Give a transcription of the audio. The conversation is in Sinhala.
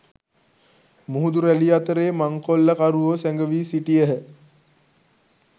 මුහුදු රැළි අතරේ මංකොල්ලකරුවෝ සැඟවී සිටියහ.